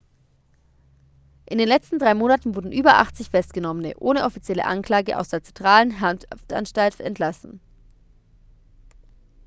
in den letzten drei monaten wurden über 80 festgenommene ohne offizielle anklage aus der zentralen haftanstalt entlassen